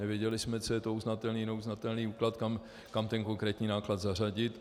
Nevěděli jsme, co je to uznatelný - neuznatelný náklad, kam ten konkrétní náklad zařadit.